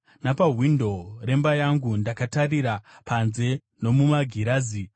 Napawindo remba yangu ndakatarira panze nomumagirazi.